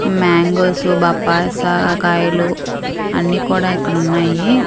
Mangoes బాపాస కాయలు అన్నీ కూడా ఇక్కడ ఉన్నాయి.